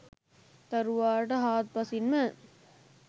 දරුවාට හාත්පසින්ම